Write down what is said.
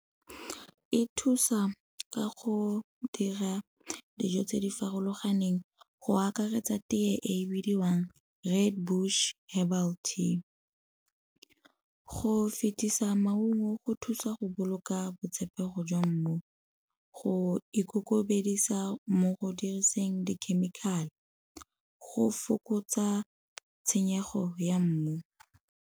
E thusa ka go dira dijo tse di farologaneng go akaretsa tee e bidiwang Redbush herbal tea. Go fetisa maungo go thusa go boloka botshepego jwa mmu. Go ikokobedisa mo go diriseng dikhemikhale go fokotsa tshenyego ya mmu.